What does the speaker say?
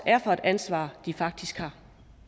er for et ansvar de faktisk har